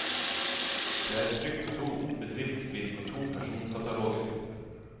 Det er trykt to bedriftsbind og to personkataloger.